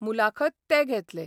मुलाखत ते घेतले.